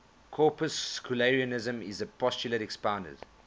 corpuscularianism is the postulate expounded